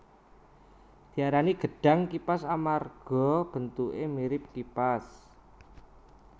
Diarani gedhang kipas amarga bentuké mirip kipas